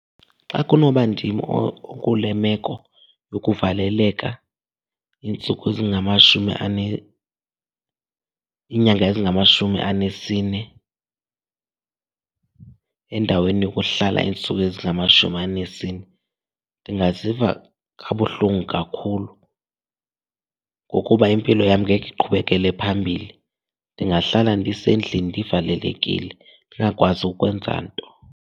Xa kunoba ndim okule meko yokuvaleleka iintsuku ezingamashumi iinyanga ezingamashumi anesine endaweni yokuhlala iintsuku ezingamashumi anesine ndingaziva kabuhlungu kakhulu ngokuba impilo yam ngeke iqhubekele phambili. Ndingahlala ndisendlini ndivalelekile, ndingakwazi ukwenza nto.